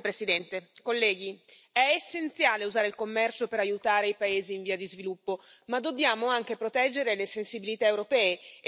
Presidente, onorevoli colleghi, è essenziale usare il commercio per aiutare i paesi in via di sviluppo, ma dobbiamo anche proteggere le sensibilità europee ed impedire che si verifichi un nuovo caso come quello del riso asiatico.